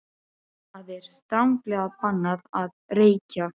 ÞAÐ ER STRANGLEGA BANNAÐ AÐ REYKJA!